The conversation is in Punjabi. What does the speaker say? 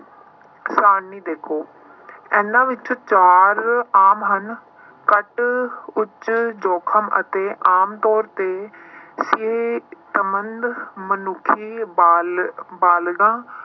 ਸਾਰਣੀ ਦੇਖੋ ਇਹਨਾਂ ਵਿੱਚ ਚਾਰ ਆਮ ਹਨ ਘੱਟ ਉੱਚ ਜੋਖਿਮ ਅਤੇ ਆਮ ਤੌਰ ਤੇ ਸੰਬੰਧ ਮਨੁੱਖੀ ਬਾਲ ਬਾਲਗਾਂ